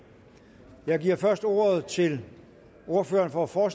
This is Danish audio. jeg giver først ordet til ordføreren for for